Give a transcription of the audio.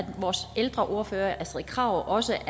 at vores ældreordfører er astrid krag også